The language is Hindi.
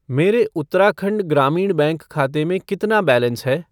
मेरे उत्तराखंड ग्रामीण बैंक खाते में कितना बैलेंस है?